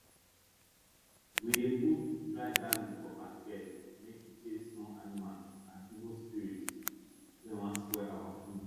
we dey put dry garlic for basket make e chase small animals and evil spirits wey wan spoil our food